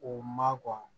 O ma kɔn